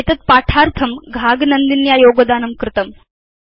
एतद् पाठार्थं घाग नन्दिन्या योगदानं कृतम्